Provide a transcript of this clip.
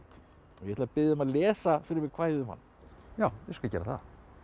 ég ætla að biðja þig um að lesa kvæðið um hann já ég skal gera það